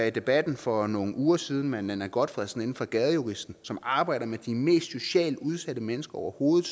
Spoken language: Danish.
i debatten for nogle uger siden med nanna gotfredsen fra gadejuristen som arbejder med de mest socialt udsatte mennesker overhovedet